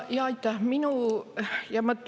Aitäh!